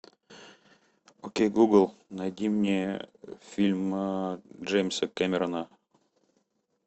окей гугл найди мне фильм джеймса кэмерона